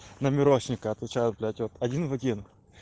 на мирошника отвечаю блять вот один в один